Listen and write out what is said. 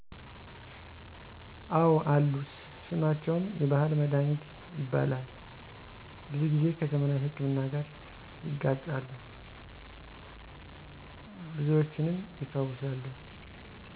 አወ አሉ ስማቸውም የባሕል መድኃኒት ይባላል ብዙ ጊዜ ከዘመናዊ ሕክምና ጋር ይጋጫሉ ብዙዎችንም ይፈውሳሉ።